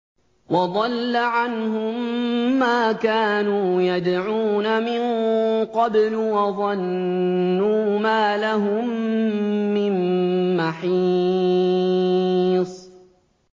وَضَلَّ عَنْهُم مَّا كَانُوا يَدْعُونَ مِن قَبْلُ ۖ وَظَنُّوا مَا لَهُم مِّن مَّحِيصٍ